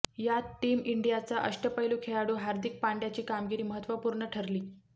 यात टीम इंडियाचा अष्टपैलु खेळाडू हार्दिक पांड्याची कामगिरी महत्त्वपूर्ण ठरली